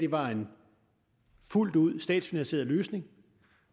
var en fuldt ud statsfinansieret løsning